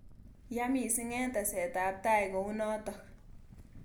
Ya missing eng tesetab tai kounotok.